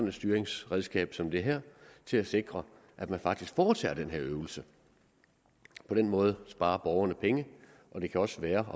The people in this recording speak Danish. et styringsredskab som det her til at sikre at man faktisk foretager den her øvelse på den måde sparer borgerne penge og det kan også være